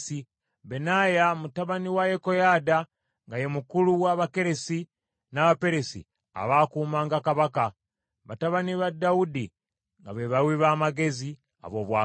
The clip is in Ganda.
Benaaya mutabani wa Yekoyaada nga ye mukulu w’Abakeresi n’Abaperesi abaakuumanga ba kabaka, batabani ba Dawudi nga be bawi ba magezi ab’obwakabaka.